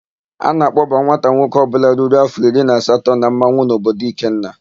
A na-akpọba nwata nwoke ọbụla ruru áfọ̀ iri na asatọ na mmanwụ n'obodo Ikenna.